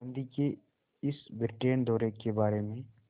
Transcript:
गांधी के इस ब्रिटेन दौरे के बारे में